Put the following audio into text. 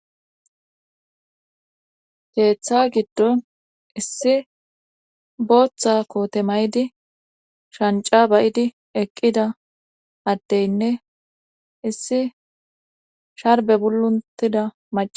keeththa giddon issi booththa koote maydi shanca ba'idi eqqida addeynne issi sharbe guluntida mac